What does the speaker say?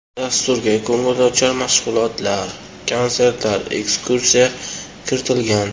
Dasturga ko‘ngilochar mashg‘ulotlar, konsertlar, ekskursiya kiritilgan.